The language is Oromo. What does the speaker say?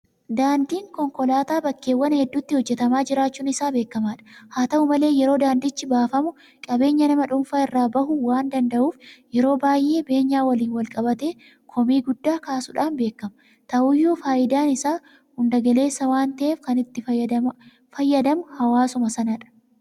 Daandiin konkolaataa bakkeewwan hedduutti hojjetamaa jiraachuun isaa beekamaadha. Haa ta'u malee yeroo daandichi baafamu qabeenya nama dhuunfaa irra bahuu waan danda'uuuf yeroo baay'ee beenyaa waliin walqabatee komii guddaa kaasuudhaan beekama. Ta'uyyuu faayidaan isaa hunda galeessa waan ta'eef kan itti fayyadama hawwasummaa sanadha.